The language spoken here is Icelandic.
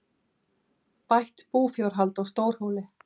Bætt búfjárhald á Stórhóli